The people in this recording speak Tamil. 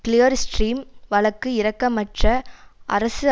கிளியர் ஸ்ட்ரீம் வழக்கு இரக்கமற்ற அரசு